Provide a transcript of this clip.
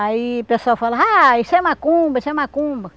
Aí o pessoal fala, ah, isso é macumba, isso é macumba.